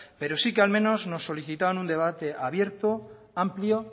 pero sí que al menos nos solicitan un debate abierto amplio